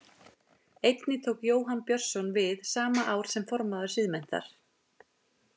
Einnig tók Jóhann Björnsson við sama ár sem formaður Siðmenntar.